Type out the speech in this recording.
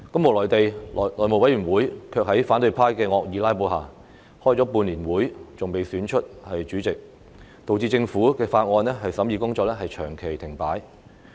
無奈地，內務委員會卻在反對派的惡意"拉布"下，歷時半年仍未能選出主席，導致政府法案的審議工作長期停擺。